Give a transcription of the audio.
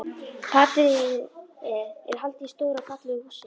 Partíið er haldið í stóru og fallegu húsi.